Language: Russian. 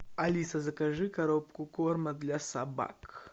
алиса закажи коробку корма для собак